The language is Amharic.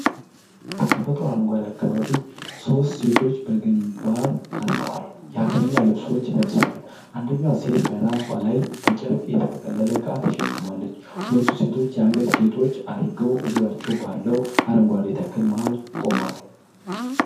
በተፈጥሮ አረንጓዴ አካባቢ ሦስት ሴቶች በግንባር ቀርበዋል። የሀገርኛ ልብሶችን ለብሰዋል፤ አንደኛዋ ሴት በራሷ ላይ በጨርቅ የተጠቀለለ ዕቃ ተሸክማለች። ሁሉም ሴቶች የአንገት ጌጦች አድርገው በዙሪያቸው ባለው አረንጓዴ ተክል መሃል ቆመዋል።